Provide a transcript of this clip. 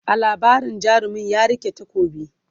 a labarin jarumin ya rike takobi